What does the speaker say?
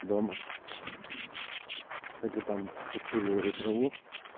дома так и там покуриваю траву